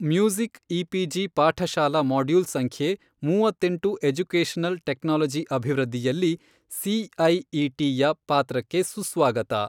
Music EPG Pathshala module ಸಂಖ್ಯೆ ಮೂವತ್ತೆಂಟು educational technology ಅಭಿವೃದ್ಧಿಯಲ್ಲಿ, ಸಿಐಇಟಿಯ ಪಾತ್ರಕ್ಕೆ ಸುಸ್ವಾಗತ.